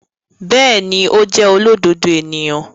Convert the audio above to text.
Bẹẹni, o jẹ olododo eniyan